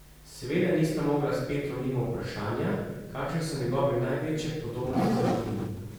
Seveda nista mogla s Petrom mimo vprašanja, kakšne so njegove največje podobnosti z Martinom.